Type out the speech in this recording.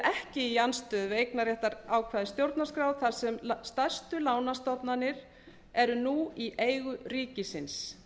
ekki í andstöðu við eignarréttarákvæði stjórnarskrár þar sem stærstu lánastofnanir eru nú í eigu ríkisins